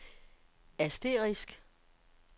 asterisk